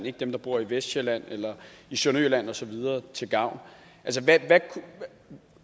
ikke dem der bor i vestsjælland eller i sønderjylland osv til gavn